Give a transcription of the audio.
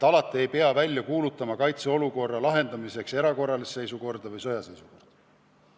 Alati ei pea kaitseolukorra lahendamiseks välja kuulutama erakorralist seisukorda või sõjaseisukorda.